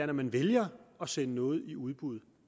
når man vælger at sende noget i udbud